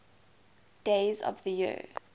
days of the year